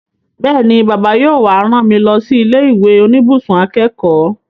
Bẹ́ẹ̀ni, Bàbá yóò wá rán mi lọ sí ilé ìwé oníbùsùn akẹ́kọ̀ọ́